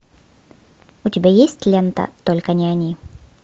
у тебя есть лента только не они